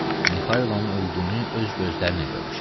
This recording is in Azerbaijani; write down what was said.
Mixailonun öldüyünü öz gözlərimlə görmüşəm.